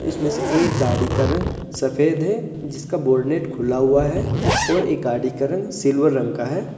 इसमें से एक गाड़ी का रंग सफेद है जिसका बोनेट खुला हुआ है और एक गाड़ी का रंग सिल्वर रंग का है।